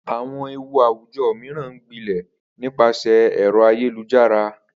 Àwo̩n ewu àwùjo̩ mìíràn ń gbilè̩ nípasè̩ è̩ro̩ ayélujára